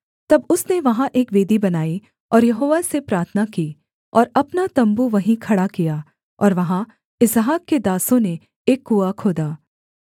तब उसने वहाँ एक वेदी बनाई और यहोवा से प्रार्थना की और अपना तम्बू वहीं खड़ा किया और वहाँ इसहाक के दासों ने एक कुआँ खोदा